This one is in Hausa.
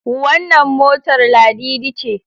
Wannan motar Ladidi ce?